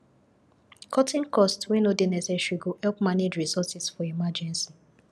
cutting cost wey no dey necesaary go help manage resources for emergency